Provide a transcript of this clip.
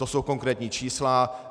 To jsou konkrétní čísla.